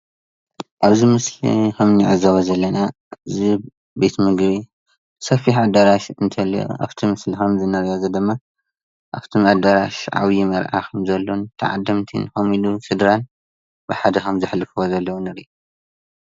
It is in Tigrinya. ኣብዚ ምስሊ ከምንዕዘቦ ዘለና እዚ ቤት ምግቢ ሰፊሕ ኣዳራሽ እንተሎ ኣብቲ ምስሊ ከምንርኦ ኣብቲ ኣዳራሽ ዓብይ መርዓ ከምዘሎ ተዓደምትን ከምኡ'ወን ስድራን ብሓደ ከም ዝሕልፈዎ ዘለው ንርኢ።